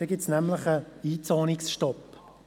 Denn dann gibt es einen Einzonungsstopp.